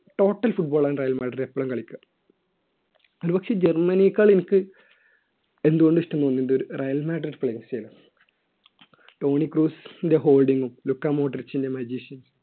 total football ആണ് Real Madrid‍ എപ്പോഴും കളിക്കുക ജർമ്മനിയെക്കാൾ എനിക്ക് എന്തുകൊണ്ടും ഇഷ്ടം റയൽ മാഡ്രിഡ് players നെയാണ് ടോണിക്ക് ക്രൂഡിന്റെ holding ഉം ലുക്കാ മോഡ്രിഷിന്റെ മജീഷും